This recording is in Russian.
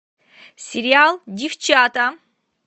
сериал девчата